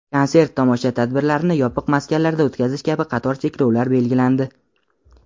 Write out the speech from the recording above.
konsert tomosha tadbirlarini yopiq maskanlarda o‘tkazish kabi qator cheklovlar belgilandi.